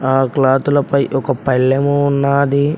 ఆ క్లాతులపై ఒక పల్లెము ఉన్నాది.